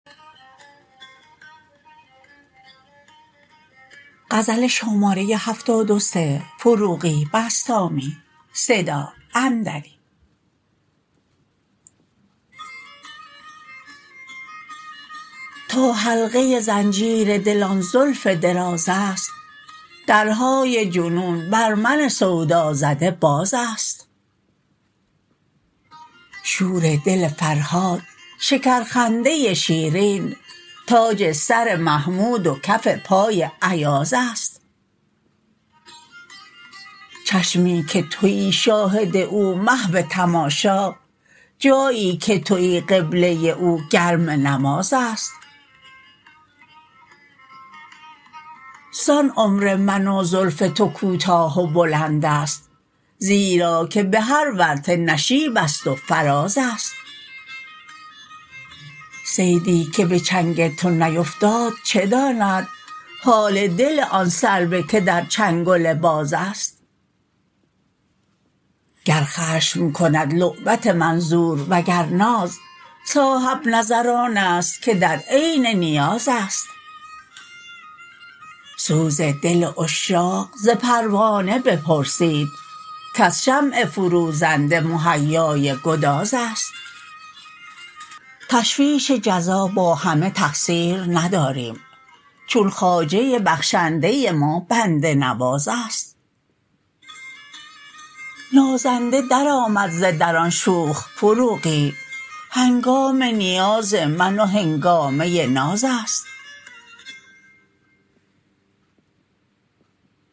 تا حلقه زنجیر دل آن زلف دراز است درهای جنون بر من سودازده باز است شور دل فرهاد شکر خنده شیرین تاج سر محمود و کف پای ایاز است چشمی که تویی شاهد او محو تماشا جایی که تویی قبله او گرم نماز است زان عمر من و زلف تو کوتاه و بلند است زیرا که به هر ورطه نشیب است و فراز است صیدی که به چنگ تو نیفتاد چه داند حال دل آن صعوه که در چنگل باز است گر خشم کند لعبت منظور وگر ناز صاحب نظر آن است که در عین نیاز است سوز دل عشاق ز پروانه بپرسید کز شمع فروزنده مهیای گداز است تشویش جزا با همه تقصیر نداریم چون خواجه بخشنده ما بنده نواز است نازنده درآمد ز در آن شوخ فروغی هنگام نیاز من و هنگامه ناز است